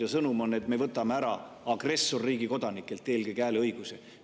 Aga sõnum on, et me võtame eelkõige agressorriigi kodanikelt hääleõiguse ära.